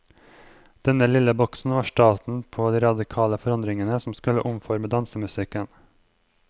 Denne lille boksen var starten på de radikale forandringene som skulle omforme dansemusikken.